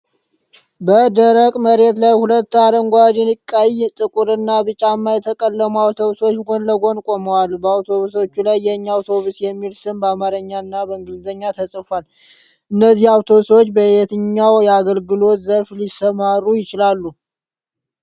በደረቅ መሬት ላይ ሁለት አረንጓዴ፣ ቀይ፣ ጥቁር እና ቢጫማ የተቀለሙ አውቶቡሶች ጎን ለጎን ቆመዋል። በአውቶቡሶቹ ላይ "የኛ አውቶቡስ" የሚል ስም በአማርኛና በእንግሊዝኛ ተጽፏል። እነዚህ አውቶቡሶች በየትኛው የአገልግሎት ዘርፍ ሊሰማሩ ይችላሉ?